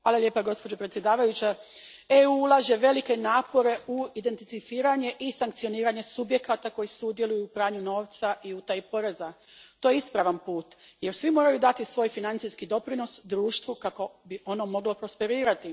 Gospođo predsjednice, EU ulaže velike napore u identificiranje i sankcioniranje subjekata koji sudjeluju u pranju novca i utaji poreza. To je ispravan put jer svi moraju dati svoj financijski doprinos društvu kako bi ono moglo prosperirati.